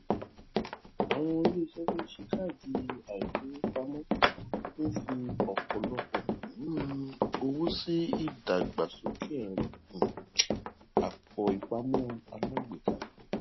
àwọn iléiṣẹ tí ó ń ṣe káàdì àfigbowò ń fi ọpọlọpọ um owó sí ìdàgbàsókè ẹrọ um àpòìpamọ alágbèéká